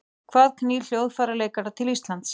Hvað knýr hljóðfæraleikara til Íslands?